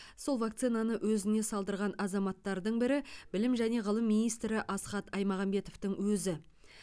сол вакцинаны өзіне салдырған азаматтардың бірі білім және ғылым министрі асхат аймағамбетовтың өзі